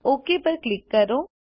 okay પર click કરો